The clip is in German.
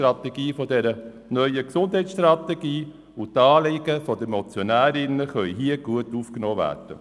Die Anliegen der Motionärinnen können hier gut aufgenommen werden.